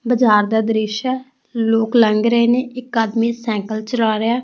ਬਜਾਰ ਦਾ ਦ੍ਰਿਸ਼ ਐ ਲੋਕ ਲੰਗ ਰਹੇ ਨੇ ਇੱਕ ਆਦਮੀ ਸਾਈਕਲ ਚਲਾ ਰਿਹਾ ਐ।